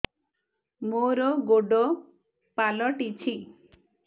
ମୋର ଗୋଡ଼ ପାଲଟିଛି